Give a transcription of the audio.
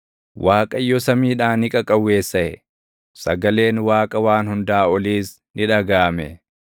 Waaqayyo samiidhaa ni qaqawweessaʼe; sagaleen Waaqa Waan Hundaa Oliis ni dhagaʼame.